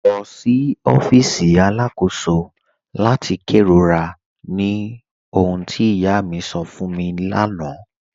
Lọ sí ọfíìsì aláàkọ̀sò láti kẹrọ̀rà, ní òhùn tí ìyá mi sọ̀ fún mi láńà